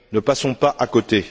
ne passons pas à côté!